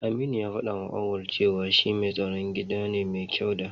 Aminu ya faɗawa Auwal cewa shi mai tsaron gida ne mai kyau da.